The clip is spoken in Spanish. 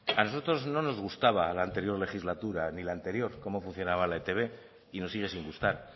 a nosotros no nos gustaba la anterior legislatura ni la anterior cómo funcionaba la e i te be y nos sigue sin gustar